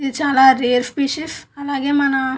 ఇది చాలా rare species అలాగె మన --